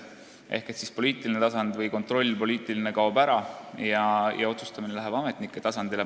Ehk siis poliitiline tasand või poliitiline kontroll kaob ära ja otsustamine läheb ametnike tasandile.